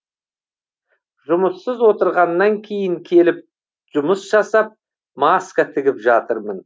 жұмыссыз отырғаннан кейін келіп жұмыс жасап маска тігіп жатырмын